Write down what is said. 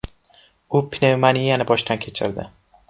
U pnevmoniyani boshdan kechirdi.